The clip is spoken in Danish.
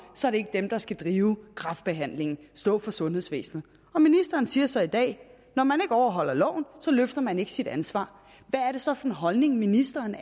så er det ikke dem der skal drive kræftbehandlingen stå for sundhedsvæsenet og ministeren siger så i dag når man ikke overholder loven løfter man ikke sit ansvar hvad er det så for en holdning ministeren